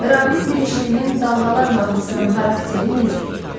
Ramiz Mirişlinin Dalğalar mahnısının xarakteri necədir?